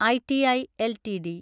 I T I LTD